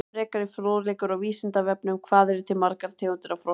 Frekari fróðleikur á Vísindavefnum: Hvað eru til margar tegundir af froskum?